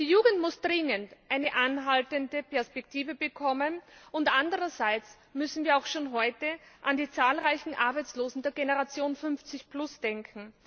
Die Jugend muss dringend eine anhaltende Perspektive bekommen, und andererseits müssen wir auch schon heute an die zahlreichen Arbeitslosen der Generation 50 denken.